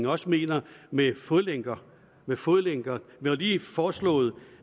også mener med fodlænker med fodlænker vi har lige foreslået